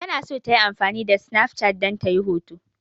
Tana so ta yi amfani da sinaf cat ta yi hoto.